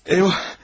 Eyvah.